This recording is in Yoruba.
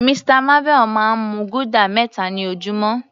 Mr marvel máa ń mu guda meta ni ojúmọ́.